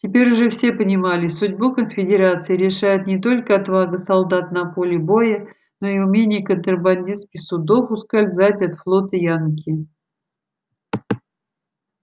теперь уже все понимали судьбу конфедерации решает не только отвага солдат на поле боя но и умение контрабандистских судов ускользать от флота янки